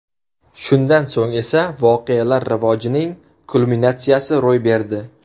Shundan so‘ng esa voqealar rivojining kulminatsiyasi ro‘y berdi.